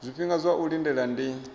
zwifhinga zwa u lindela ndi